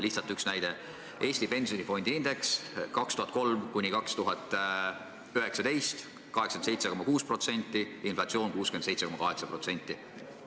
Lihtsalt üks näide: Eesti pensionifondide indeks 2003–2019 oli 87,6%, inflatsioon 67,8%.